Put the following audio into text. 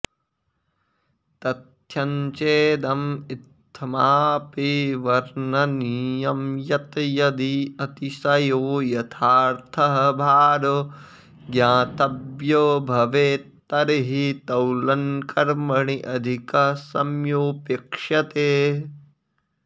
तथ्यञ्चेदं इत्थमापि वर्णनीयं यत् यदि अतिशयो यथार्थः भारो ज्ञातव्यो भवेत् तर्हि तौलनकर्मणि अधिकः सम्योऽपेक्ष्यते